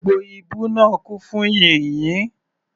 Gbogbo ibú náà kún fún yìnyín.